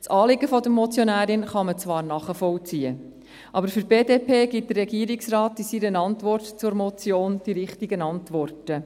Das Anliegen der Motionärin kann man zwar nachvollziehen, aber für die BDP gibt der Regierungsrat in seiner Antwort zur Motion die richtigen Antworten.